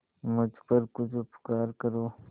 मुझ पर कुछ उपकार करें